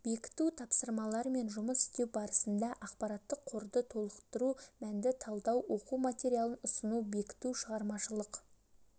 бекіту тапсырмалармен жұмыс істеу барысында ақпараттық қорды толықтыру мәтінді талдау оқу материалын ұсыну бекіту шығармашылық